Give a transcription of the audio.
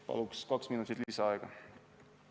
Palun kaks minutit lisaaega!